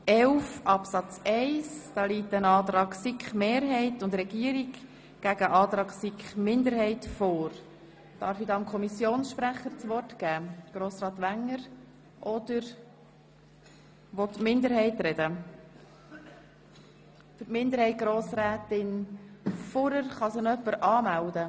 Art. 11 Abs. 1 Ausländerinnen und Ausländer müssen bei der Gesuchseinreichung seit mindestens zwei Jahren ununterbrochenen Aufenthalt im Sinne von Artikel 33 Absatz 1 BüG im Kanton Bern in der Gemeinde haben, in der sie um Einbürgerung ersuchen (Einbürgerungsgemeinde).